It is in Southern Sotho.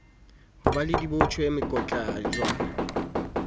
ho ba le dibotjhe mekotjana